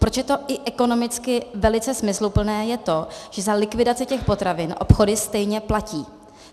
Proč je to i ekonomicky velice smysluplné, je to, že za likvidaci těch potravin obchody stejně platí.